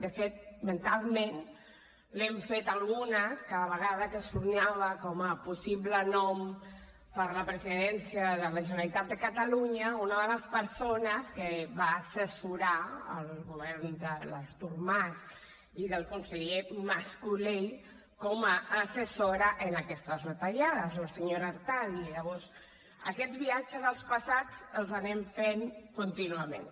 de fet mentalment l’hem fet algunes cada vegada que sonava com a possible nom per la presidència de la generalitat de catalunya una de les persones que va assessorar el govern de l’artur mas i del conseller mas colell com a assessora en aquestes retallades la senyora artadi i llavors aquests viatges als passats els anem fent contínuament